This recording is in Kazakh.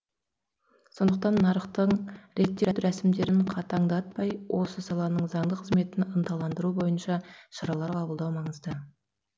сондықтан нарықтың реттеу рәсімдерін қатаңдатпай осы саланың заңды қызметін ынталандыру бойынша шаралар қабылдау маңызды